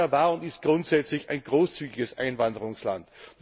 Kanada war und ist grundsätzlich ein großzügiges Einwanderungsland.